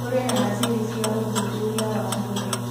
Kũrĩ na macini cia ũthuthuria wa mwĩrĩ